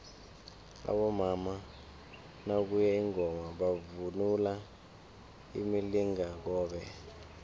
abomama nakuye ingoma bavunula imilingakobe